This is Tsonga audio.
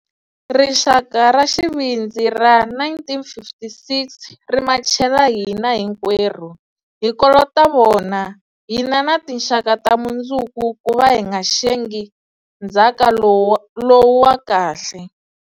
Rixaka ra xivindzi ra 1956 ri machele hina hinkwerhu. Hi kolota vona, hina na tinxaka ta mundzuku kuva hi nga xengi ndzhaka lowu wa kahle.